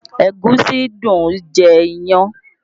Ẹ̀gúsí dùn jẹ iyán